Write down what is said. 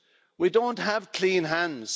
We don't have clean hands.